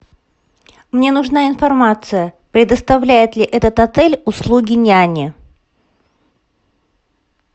мне нужна информация предоставляет ли этот отель услуги няни